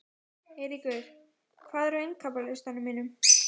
Eyríkur, hvað er á innkaupalistanum mínum?